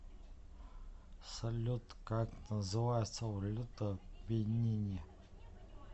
салют как называется валюта в бенине